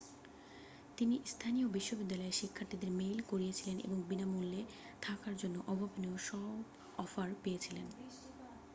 তিনি স্থানীয় বিশ্ববিদ্যালয়ের শিক্ষার্থীদের মেইল করেছিলেন এবং বিনামূল্যে থাকার জন্য অভাবনীয় সব অফার পেয়েছিলেন